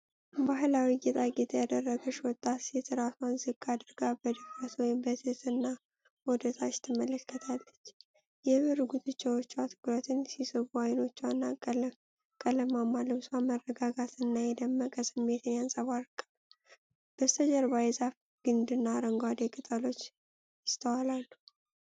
ባሕላዊ ጌጣጌጥ ያደረገች ወጣት ሴት ራሷን ዝቅ አድርጋ በኀፍረት ወይም በትህትና ወደታች ትመለከታለች። የብር ጉትቻዎቿ ትኩረትን ሲስቡ፤ አይኖቿ እና ቀለማማ ልብሷ መረጋጋትንና የተደበቀ ስሜትን ያንጸባርቃሉ። በስተጀርባ የዛፍ ግንድና አረንጓዴ ቅጠሎች ይስተዋላሉ።